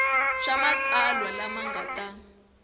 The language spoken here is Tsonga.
swa matsalwa lama nga ta